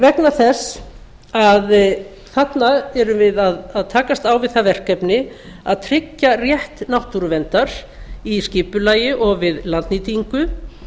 vegna þess að þarna erum við að takast á við það verkefni að tryggja rétt náttúruverndar í skipulagi og við landnýtingu